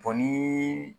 O ni